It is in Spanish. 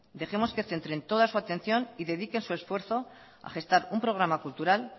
dejemos que centren toda su atención y dediquen su esfuerzo a gestar un programa cultural